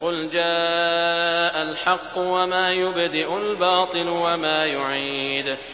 قُلْ جَاءَ الْحَقُّ وَمَا يُبْدِئُ الْبَاطِلُ وَمَا يُعِيدُ